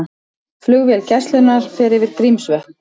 Flugvél Gæslunnar fer yfir Grímsvötn